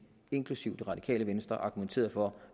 inklusive det radikale venstre argumenterede for